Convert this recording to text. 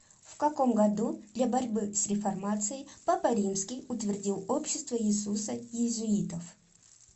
в каком году для борьбы с реформацией папа римский утвердил общество иисуса иезуитов